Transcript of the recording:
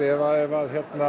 ef